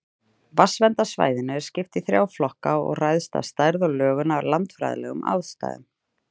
Vatnsverndarsvæðinu er skipt í þrjá flokka og ræðst stærð og lögun af landfræðilegum aðstæðum.